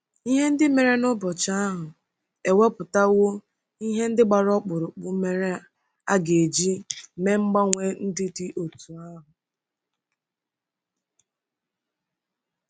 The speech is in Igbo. Ihe ndị mere n'ụbọchị ahụ ewepụtawo ihe ndị gbara ọkpụrụkpụ mere a ga-eji mee mgbanwe ndị dị otú ahụ.